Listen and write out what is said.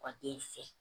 Pa den fɛ